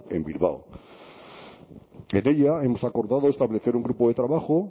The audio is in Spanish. en bilbao en ella hemos acordado establecer un grupo de trabajo